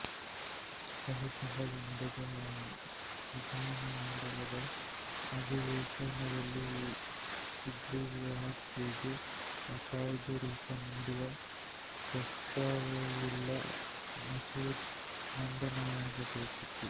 ಕಳೆದ ತಿಂಗಳು ನಡೆದ ವಿಧಾನಮಂಡಲದ ಅಧಿವೇಶನದಲ್ಲಿ ಸುಗ್ರಿವಾಜ್ಞೆಗೆ ಕಾಯ್ದೆ ರೂಪ ನೀಡುವ ಪ್ರಸ್ತಾವವುಳ್ಳ ಮಸೂದೆ ಮಂಡನೆಯಾಗಬೇಕಿತ್ತು